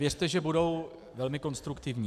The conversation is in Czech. Věřte, že budou velmi konstruktivní.